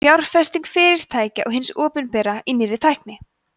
fjárfesting fyrirtækja og hins opinbera í nýrri tækni